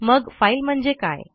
मग फाईल म्हणजे काय